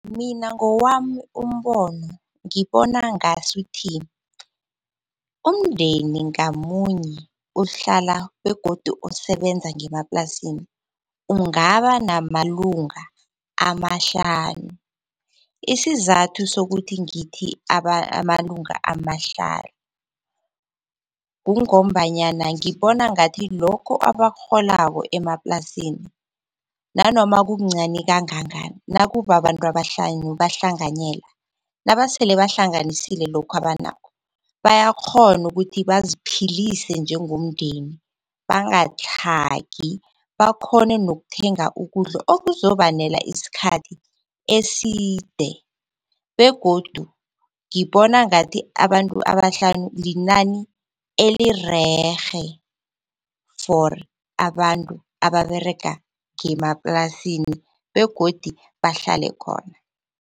Mina ngowami umbono ngibona ngasuthi, umndeni ngamunye uhlala begodu osebenza ngemaplasini ungaba namalunga amahlanu. Isizathu sokuthi ngithi amalunga amahlanu, kungombanyana ngibona ngathi lokho abakurholako emaplasini, nanoma kukuncani kangangani nakubababantu abahlanu bahlanganyela, nabasele bahlanganisile lokhu abanakho bayakghona ukuthi baziphilise njengomndeni. Bangatlhagi bakhone nokuthenga ukudla okuzobanela isikhathi eside. Begodu ngibona ngathi abantu abahlanu, linani elirerhe for abantu ababerega ngemaplasini begodu bahlale khona.